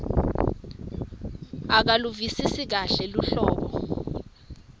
akaluvisisi kahle luhlobo